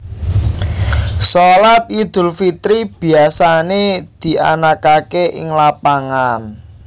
Shalat Idul Fitri biasané dianakaké ing lapangan